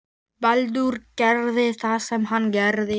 Baldur gerði það sem hann gerði.